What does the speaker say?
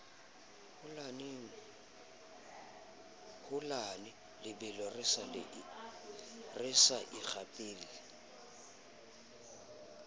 holane lebelo re sa ikgapele